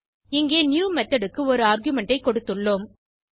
இங்கே new method க்கு ஒரு ஆர்குமென்ட் ஐ கொடுத்துள்ளோம்